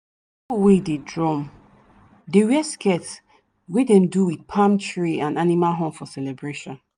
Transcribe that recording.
wey dey drum dey wear skirt wey dem do with palm tree and animal horn for celebration.